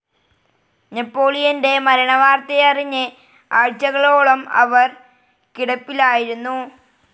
നെപ്പോളിയൻ്റെ മരണവാർത്തയറിഞ്ഞ് ആഴ്ചകളോളം അവർ കിടപ്പിലായിരുന്നു.